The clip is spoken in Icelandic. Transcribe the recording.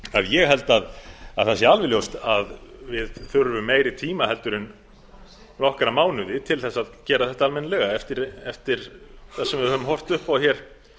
ég held að það sé alveg ljóst að við þurfum meiri tíma heldur en nokkra mánuði til þess að gera þetta almennilega eftir það sem við höfum horft upp á hér